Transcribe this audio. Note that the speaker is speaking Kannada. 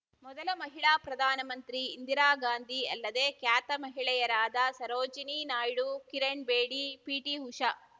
ಮೊದಲ ಮಹಿಳಾ ಪ್ರಧಾನ ಮಂತ್ರಿ ಇಂದಿರಾ ಗಾಂಧಿ ಅಲ್ಲದೆ ಖ್ಯಾತ ಮಹಿಳೆಯರಾದ ಸರೋಜಿನಿ ನಾಯ್ಡು ಕಿರಣ್ ಬೇಡಿ ಪಿಟಿಉಷಾ